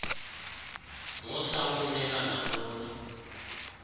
musa ukumniika nantoni